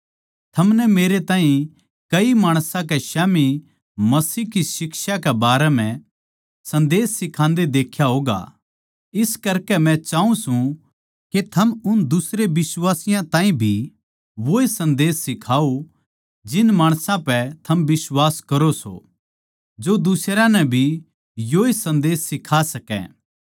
थमनै मेरे ताहीं कई माणसां के स्याम्ही मसीह की शिक्षा के बारें म्ह सन्देस सिखान्दे देख्या होगा इस करकै मै चाऊँ सूं के थम उन दुसरे बिश्वासियाँ ताहीं भी वोए सन्देस सिखाओ जिन माणसां पै थम भरोस्सा करो सों जो दुसरयां नै भी योए सन्देस सिखा सकै